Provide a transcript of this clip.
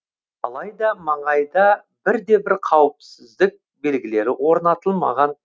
алайда маңайда бірде бір қауіпсіздік белгілері орнатылмаған